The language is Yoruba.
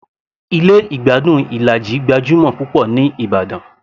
Ilé ìgbádùn Ilaji gbajúmọ̀ púpọ̀ ní ìbàdàn